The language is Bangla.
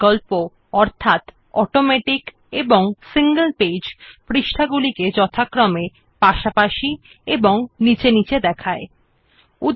it has options like automatic and single page for displaying pages side by side and beneath each other respectively